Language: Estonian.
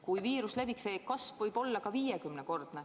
Kui viirus levib, siis see kasv võib olla ka viiekümnekordne.